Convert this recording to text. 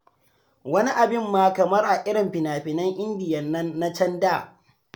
Wani abin ma kamar a irin finafinan indiya nan na da can.